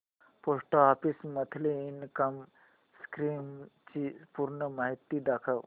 post office monthly income scheme ची पूर्ण माहिती दाखव